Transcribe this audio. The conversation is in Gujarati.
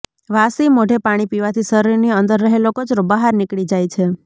વાસી મોઢે પાણી પીવાથી શરીરની અંદર રહેલો કચરો બહાર નીકળી જાઈ છે